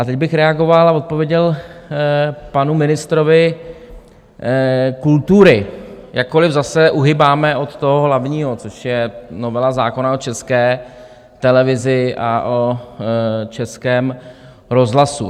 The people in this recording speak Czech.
A teď bych reagoval a odpověděl panu ministrovi kultury, jakkoliv zase uhýbáme od toho hlavního, což je novela zákona o České televizi a o Českém rozhlasu.